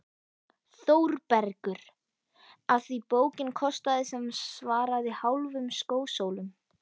ÞÓRBERGUR: Af því bókin kostaði sem svaraði hálfum skósólum.